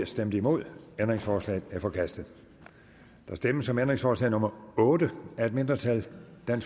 stemte nul ændringsforslaget er forkastet der stemmes om ændringsforslag nummer otte af et mindretal der